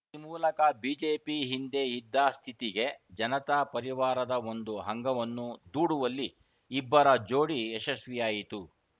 ಈ ಮೂಲಕ ಬಿಜೆಪಿ ಹಿಂದೆ ಇದ್ದ ಸ್ಥಿತಿಗೆ ಜನತಾ ಪರಿವಾರದ ಒಂದು ಅಂಗವನ್ನು ದೂಡುವಲ್ಲಿ ಇಬ್ಬರ ಜೋಡಿ ಯಶಸ್ವಿಯಾಯಿತು